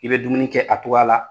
I bɛ dumuni kɛ a togoya la